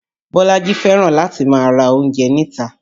Bolaji fẹ́ràn láti máa ra oúnjẹ níta